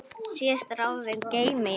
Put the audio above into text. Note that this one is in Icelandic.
Síðustu ráðin geymi ég.